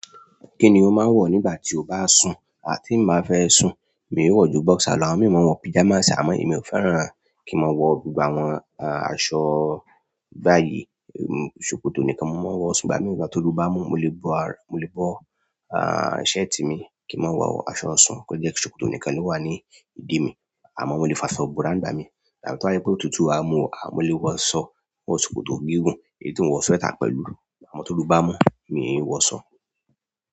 Kí ni o máa ń wọ̀ nígbà tí o bá sùn? Àti ì bá fẹ́ sùn, mi ò wọ̀ ju boxer lọ àwọn mí ì ò mọ̀ wọ̀ pyjamas àmọ́ èmi ò fẹ́ràn kí n máa wọ̀ gbogbo àwọn aṣọ báyìí. Ṣòkòtò nìkan mo máa ń wọ̀, ìgbà míì tóoru bá mú, mo lè bọ́, mo lè bọ́ a, shirt mi kí n máa wọ̀ aṣọ ọ̀sùn, kó jẹ́ ṣòkòtò nìkan ló wà ní ìdí mi àmọ́ mo lè fàṣọ búrà ní ìgbà mí. Àbí tó bá jẹ́ pé ó tutù, a mú, mo lè wọ̀ aṣọ, wọ ṣòkòtò gígùn kí n tún wọ̀ sweater pẹ̀lú. Àmọ́ tóru bá ń mú, mi ì wọṣọ.